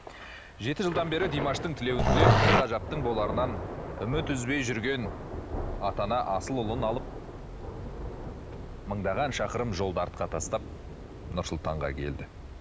жеті жылдан бері димаштың тілеуін тілеп бір ғажаптың боларынан үміт үзбей жүрген ата ана асыл ұлын алып мыңдаған шақырым жолды артқа тастап нұр сұлтанға келді